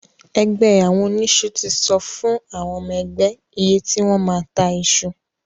Ẹgbẹ́ àwọn oníṣu ti sọ fún àwọn ọmọ ẹgbẹ́ iye tí wọ́n máa ta iṣu.